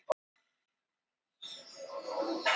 Óson myndaðist í hreinsibúnaði